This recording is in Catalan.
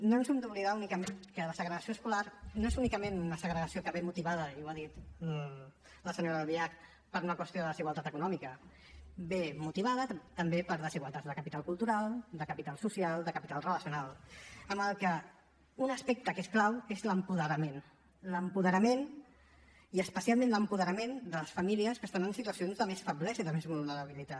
no hem d’oblidar que la segregació escolar no és únicament una segregació que ve motivada i ho ha dit la senyora albiach per una qüestió de desigualtat econòmica ve motivada també per desigualtats de capital cultural de capital social i de capital relacional amb la qual cosa un aspecte que es clau és l’apoderament l’apoderament i especialment l’apoderament de les famílies que estan en situacions de més feblesa i de més vulnerabilitat